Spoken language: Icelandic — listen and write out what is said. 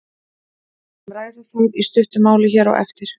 Við skulum ræða það í stuttu máli hér á eftir.